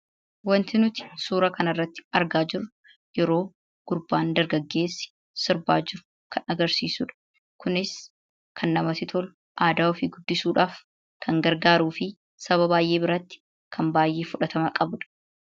Wanti nuti suuraa kanarratti argaa jirru yeroo gurbaan dargaggeessi sirbaa jiru kan agarsiisu dha. Kunis kan namatti tolu, aadaa ofii guddisuudhaaf kan gargaaruu fi saba baay'ee biratti kan baay'ee fudhatama qabu dha.